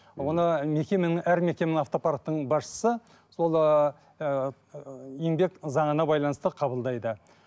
оны мекеменің әр мекеменің автопарктың басшысы сол ыыы еңбек заңына байланысты қабылдайды